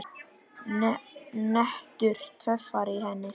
Nettur töffari í henni.